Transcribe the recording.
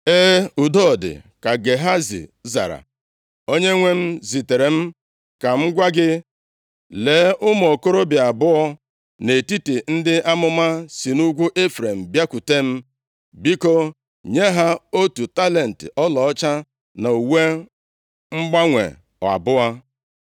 “E, udo dị,” ka Gehazi zara, “Onyenwe m zitere m ka m gwa gị, ‘Lee, ụmụ okorobịa abụọ nʼetiti ndị amụma si nʼugwu Ifrem bịakwute m. Biko nye ha otu talenti ọlaọcha na uwe mgbanwe abụọ.’ ”